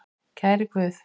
Kæri Guð.